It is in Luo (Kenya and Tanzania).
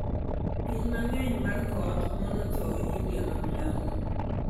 Pii mangeny mar koth noomo thoo india ma milambo